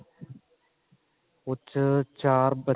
ਉਸ ਚ ਚਾਰ ਬੱਚੇ